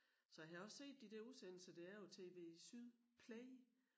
Så har jeg også set de der udsendelser der er på tvSyd Play